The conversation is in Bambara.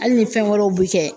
Hali ni fɛn wɛrɛw bi kɛ